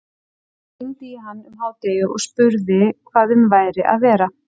Hún hringdi í hann um hádegi og spurði hvað um væri að vera.